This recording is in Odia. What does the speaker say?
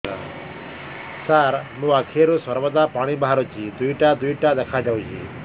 ସାର ମୋ ଆଖିରୁ ସର୍ବଦା ପାଣି ବାହାରୁଛି ଦୁଇଟା ଦୁଇଟା ଦେଖାଯାଉଛି